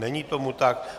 Není tomu tak.